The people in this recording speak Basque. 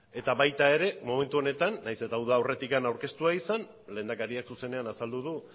eta baita ere momentu honetan nahiz eta uda aurretik aurkeztua izan lehendakariak zuzenean azaldu du